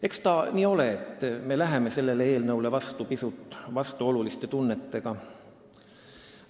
Eks ta nii ole, et me läheme selle eelnõuga edasi pisut vastuoluliste tunnetega.